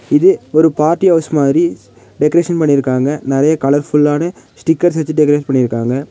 இது ஒரு party house மாரி டெக்கரேஷன் பண்ணிருக்காங்க நெறையா கலர்ஃபுல்லான ஸ்டிக்கர்ஸ் வெச்சு டெக்கரேட் பண்ணிருக்காங்க.